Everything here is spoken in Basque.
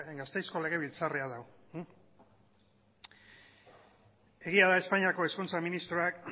gasteizko legebiltzarra da hau egia da espainiako hezkuntza ministroak